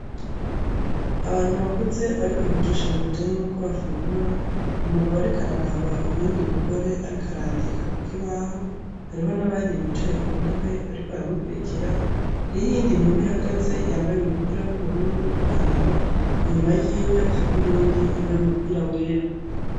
Abantu bakuze bariko bigisha ibintu bijanye nuko bafungura umugabo ariko araraba uyundi mugore ariko arandika kukibaho hariho n'abandi bicaye ku ntebe bariko baramukwirikira, hariho iyindi nkumi ihagaze yambaye umupira wubururu n'ipantaro, inyuma yiwe hariho uyundi yambaye umupira wera.